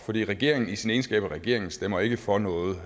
regeringen i sin egenskab af regering stemmer ikke for noget